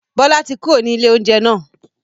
Bọlá tí kúrò ní ilé oúnjẹ náà